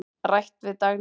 Rætt við Dagnýju.